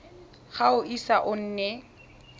ga o ise o nne